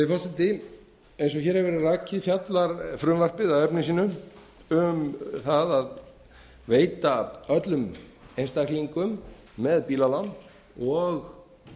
forseti eins og hér hefur verið rakið fjallar frumvarpið að efni sínu um það að veita öllum einstaklingum með bílalán og